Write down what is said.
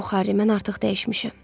Yox, Harri, mən artıq dəyişmişəm.